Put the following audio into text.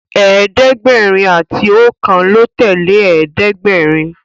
ẹ̀ẹ́dẹ̀gbẹ̀rin àti okan ló tẹlẹ ẹ̀ẹ́dẹ̀gbẹ̀rin.